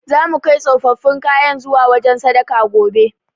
Zamu kai tsofaffin kayan zuwa wajen sadaka, gobe.